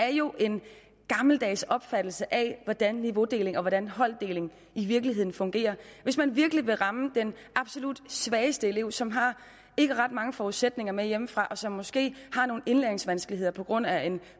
er jo en gammeldags opfattelse af hvordan niveaudeling og hvordan holddeling i virkeligheden fungerer hvis man virkelig vil ramme den absolut svageste elev som ikke har ret mange forudsætninger med hjemmefra og som måske har nogle indlæringsvanskeligheder på grund af